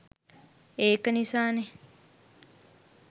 ඒක නිසානේ